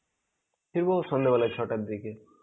ফিরবো সন্ধেবেলা ছটার দিকে.